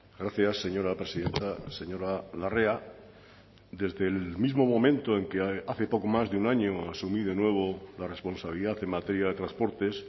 gracias señora presidenta señora larrea desde el mismo momento en que hace poco más de un año asumí de nuevo la responsabilidad en materia de transportes